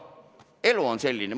Elu on selline.